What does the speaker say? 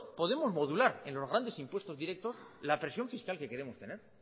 podemos modular en los grande impuestos directos la presión fiscal que queremos fiscal que queremos tener